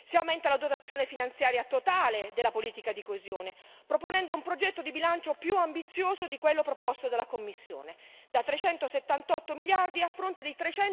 Si aumenta la dotazione finanziaria totale della politica di coesione, proponendo un progetto di bilancio più ambizioso di quello proposto dalla Commissione da 378 miliardi a fronte di